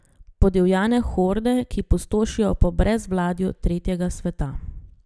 Podivjane horde, ki pustošijo po brezvladju tretjega sveta.